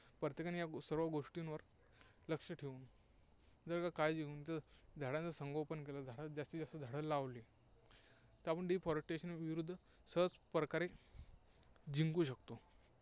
प्रत्येकाने सर्व गोष्टींवर लक्ष ठेवून जर का काळजी घेतली, झाडाचं संगोपन केलं, झाडं जास्तीत जास्त झाडं लावली, तर आपण deforestation विरुद्ध सहजप्रकारे जिंकू शकतो.